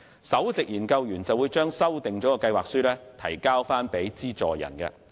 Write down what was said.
首席研究員會將修訂的計劃書向資助人提交。